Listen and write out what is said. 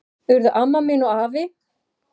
Urðu amma mín og afi.